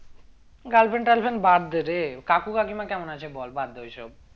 girlfriend টাল friend বাদ দে রে কাকু কাকিমা কেমন আছে বল বাদ দে ওই সব